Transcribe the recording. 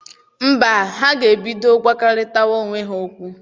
Mba, ha ga-ebido gwarịtawa onwe ha okwu.